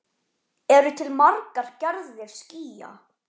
Eru til margar gerðir skýja?